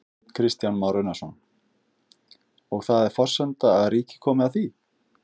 Kristján Már Unnarsson: Og það er forsenda að ríkið komi að því?